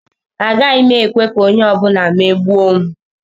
Agaghị m ekwe ka onye ọ bụla megbuo m.